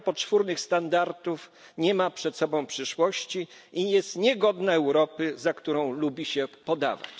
Unia poczwórnych standardów nie ma przed sobą przyszłości i jest niegodna Europy, za którą lubi się podawać.